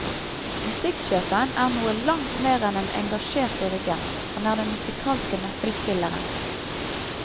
Musikksjefen er noe langt mer enn en engasjert dirigent, han er den musikalske nøkkelspilleren.